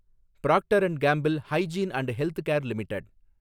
Procter and Gamble Hygiene and Health Care limited